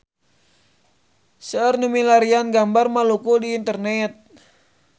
Seueur nu milarian gambar Maluku di internet